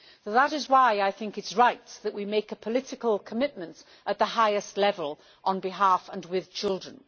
That is why I think it is right that we make a political commitment, at the highest level, on behalf of and with children.